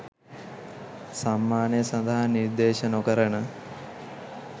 සම්මානය සඳහා නිර්දේශ නොකරන